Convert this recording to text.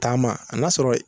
Taama a n'a sɔrɔ